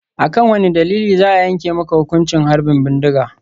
A kan wane dalili za a yanke maka hukuncin harbin bindiga?